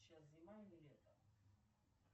сейчас зима или лето